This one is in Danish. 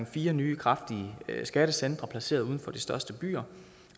fire nye kraftige skattecentre placeret uden for de største byer